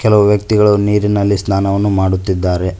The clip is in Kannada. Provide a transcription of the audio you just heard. ಕೆಲವು ವ್ಯಕ್ತಿಗಳು ನೀರಿನ್ನಲಿ ಸ್ನಾನವನ್ನು ಮಾಡುತ್ತಿದ್ದಾರೆ.